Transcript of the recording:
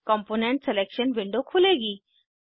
component selection window खुलेगी